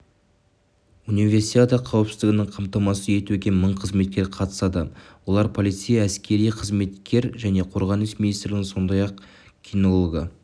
универисада қауіпсіздігін қамтамасыз етуге мың қызметкер қатысады олар полицей әскери қызметкер және қорғаныс министрлігінен сондай-ақ кинологты